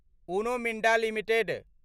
Uno Minda limited